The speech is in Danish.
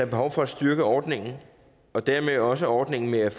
behov for at styrke ordningen og dermed også ordningen med